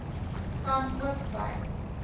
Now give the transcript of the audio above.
kan ook by